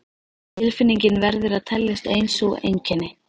Tilfinningin verður að teljast ein sú einkenni